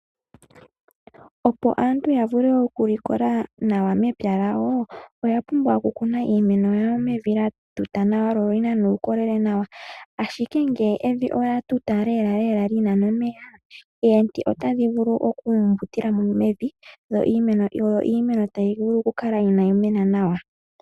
Opo aantu ya vule oku likola nawa mempya lyawo, oya pumbwa oku kuna iimeno yawo mevi lya tuta nawa lyo oli na nuukolele nawa. Ashike ngele evi olya tuta lela lela li na nomeya, omiti otadhi vulu oku mbutilamo mevi yo iimeno tayi vulu oku kala ina yi mena nawa.